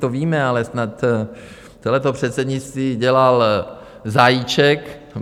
To víme, ale snad celé to předsednictví dělal Zajíček.